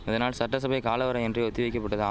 இதனால் சட்டசபை காலவரையின்றி ஒத்தி வைக்கபட்டதாம்